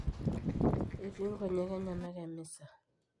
etii nkojek enyenak emisa